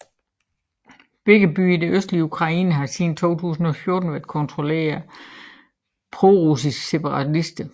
Begge byer i det østlige Ukraine har siden 2014 været kontrolleret af prorussiske separatister